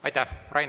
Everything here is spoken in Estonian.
Aitäh!